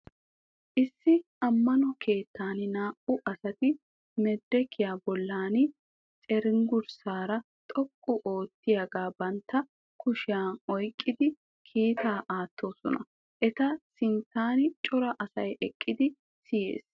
Issi ammano keettan naa"u asati medirekiya bollan cenggurssaa xoqqu oottiyaagaa bantta kushiyan oyikkidi kiitaa aattoosona. Eta sinttan cora asay eqqidi siyes.